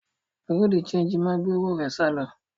Bùrúdì ṣẹegì máa gbé owó rẹ̀ sálọ.